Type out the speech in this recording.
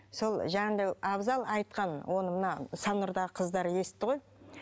сол жанымда абзал айтқан оны мына саннұрдағы қыздар естіді ғой